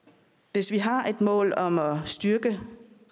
hvis vi har et mål om at styrke